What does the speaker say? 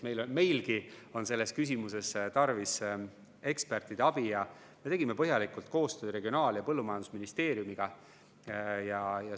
Me leidsime siiski, et meil on selles küsimuses tarvis ekspertide abi, ja me tegime põhjalikult koostööd Regionaal‑ ja Põllumajandusministeeriumiga.